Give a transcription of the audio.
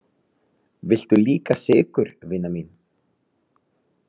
Viltu líka sykur, vina mín?